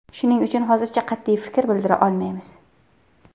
Shuning uchun hozircha qat’iy fikr bildira olmaymiz.